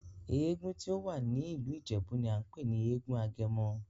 Èègún tí o wá ní ìlú Ìjèbú ní a npè ní èègún Agemo